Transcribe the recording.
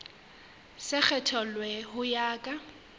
se kgethollwe ho ya ka